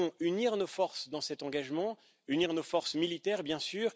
Nous devons unir nos forces dans cet engagement, unir nos forces militaires, bien sûr.